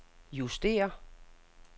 justér